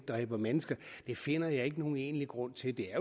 dræber mennesker finder jeg ikke nogen egentlig grund til det er